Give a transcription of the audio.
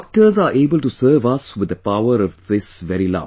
Doctors are able to serve us with the power of this very love